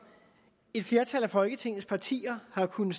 et flertal af folketingets partier har kunnet